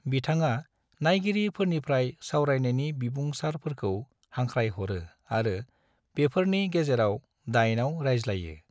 बिथाङा नायगिरि फोरनिफ्राय सावरायनायनि बिबुंसारफोरखौ हांख्राय हरो आरो बेफोरनि गेजेराव दाइनाव रायज्लायो।